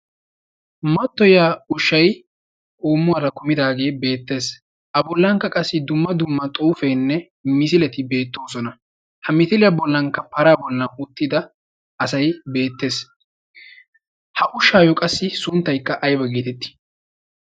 mattiyiya ushyi uummuwaara kumidaagee beettees. a bollankka qassi dumma dumma xuufeenne misileti beettoosona. ha mitiliyaa bollankka para bollan uttida asay beettees. ha ushaayyo qassi sunttaikka aiba geetettii?